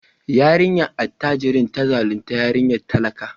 Yarinyar attajirin ta zaluntar yarinyar talaka.